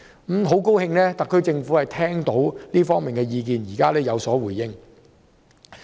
我很高興特區政府聽取這方面的意見，現在有所回應。